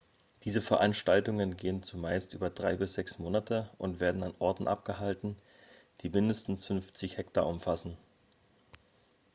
diese veranstaltungen gehen zumeist über drei bis sechs monate und werden an orten abgehalten die mindestens 50 hektar umfassen